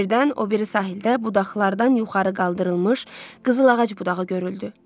Birdən o biri sahildə budaqlardan yuxarı qaldırılmış qızıl ağac budağı görüldü.